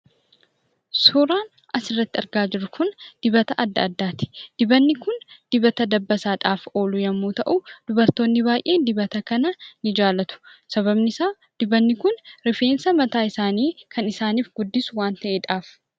Suuraan as irratti argaa jirru kun dibata adda addaati. Dibatni kun dibata dabbasaadhaaf oolu yoo ta'u, dubartoonni baay'een dibata kana ni jaallatu. Sababni isaa rifeensa mataa isaani kan isaaniif guddisu waan ta'edhaafi.